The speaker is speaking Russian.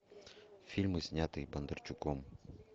фильмы снятые бондарчуком